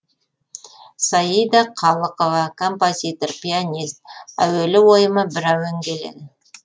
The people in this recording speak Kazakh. саида қалықова композитор пианист әуелі ойыма бір әуен келеді